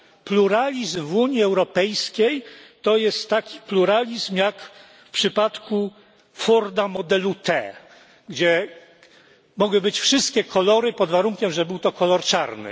Pluralizm w Unii Europejskiej to jest taki pluralizm jak w przypadku forda modelu T, gdzie mogły być wszystkie kolory, pod warunkiem że był to kolor czarny.